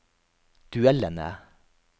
duellene